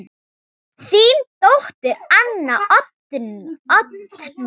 Þín dóttir, Anna Oddný.